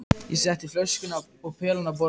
Ég setti flöskuna og pelann á borðið.